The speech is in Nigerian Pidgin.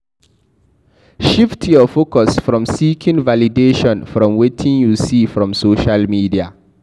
Shift your focus from seeking validation from wetin you see from social media